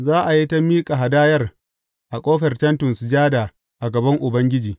Za a yi ta miƙa hadayar a ƙofar Tentin Sujada a gaban Ubangiji.